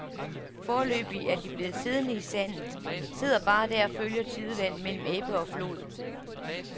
Foreløbig er de blevet siddende i sandet, sidder bare der og følger tidevandet mellem ebbe og flod.